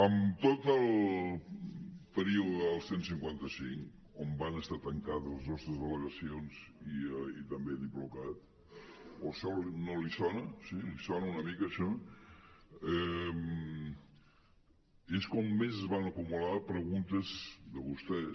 en tot el període del cent i cinquanta cinc on van estar tancades les nostres delegacions i també diplocat o això no li sona sí li sona una mica això és quan més es van acumular preguntes de vostès